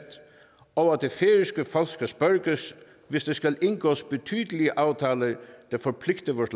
og at det færøske folk skal spørges hvis der skal indgås betydelige aftaler der forpligter vores